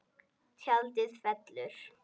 Tjaldið fellur.